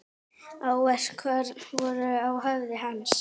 Áverkar voru á höfði hans.